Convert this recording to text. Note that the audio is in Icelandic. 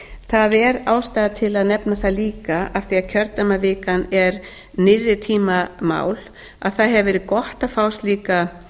það er ástæða til að nefna það líka af því að kjördæmavikan er nýrri tíma mál að það hefur verið gott að fá slíka